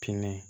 Kini